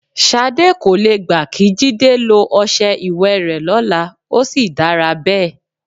S̩adé kò le gbà kí Jídé lo o̩s̩e̩ ìwè rè̩ ló̩la, ó sì dára bé̩è̩.